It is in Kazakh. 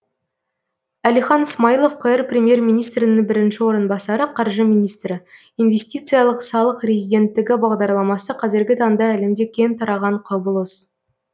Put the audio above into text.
әлихан смайылов қр премьер министрінің бірінші орынбасары қаржы министрі инвестициялық салық резиденттігі бағдарламасы қазіргі таңда әлемде кең тараған құбылыс